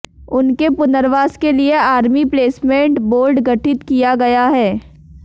उनके पुनर्वास के लिये आर्मी प्लेसमेंट बोर्ड गठित किया गया है